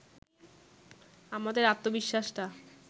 আমাদের আত্মবিশ্বাসটা